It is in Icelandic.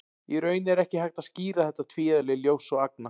Í raun er ekki hægt að skýra þetta tvíeðli ljóss og agna.